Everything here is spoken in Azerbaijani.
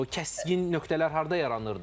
O kəskin nöqtələr harda yaranırdı?